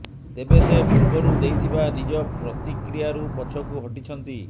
ତେବେ ସେ ପୂର୍ବରୁ ଦେଇଥିବା ନିଜ ପ୍ରତିକ୍ରିୟାରୁ ପଛକୁ ହଟିଛନ୍ତି